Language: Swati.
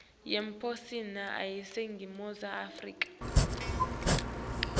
yemaphoyisa aseningizimu afrika